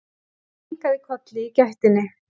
Ég kinkaði kolli í gættinni.